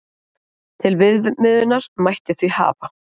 Til viðmiðunar mætti því hafa